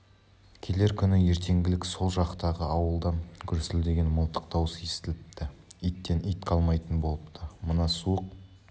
келер күні ертеңгілік сол жақтағы ауылдан гүрсілдеген мылтық даусы естіліпті иттен ит қалмайтын болыпты мына суық